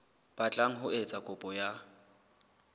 batlang ho etsa kopo ya